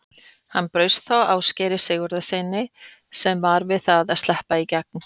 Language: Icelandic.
Hann braut þá Ásgeiri Sigurgeirssyni sem var við það að sleppa í gegn.